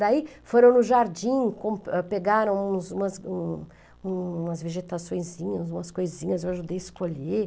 Daí foram no jardim, pegaram umas, umas, um, umas vegetações, umas coisinhas, eu ajudei a escolher.